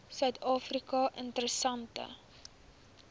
suid afrika interessante